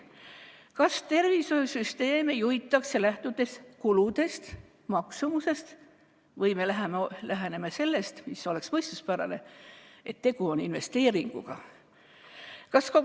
Kas tervishoiusüsteeme juhitakse, lähtudes kuludest ja maksumusest või sellest, mis oleks mõistuspärane, et tegu on investeeringuga?